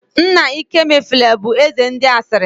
Nna ịkemefule bụ eze ndị asịrị